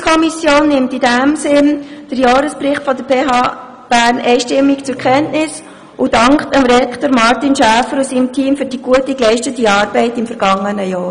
Die BiK nimmt in diesem Sinn den Jahresbericht der PHBern einstimmig zur Kenntnis und dankt Rektor Martin Schäfer und seinem Team für die geleistete gute Arbeit im vergangenen Jahr.